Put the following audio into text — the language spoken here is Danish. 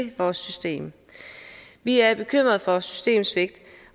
vores system vi er bekymret for et systemsvigt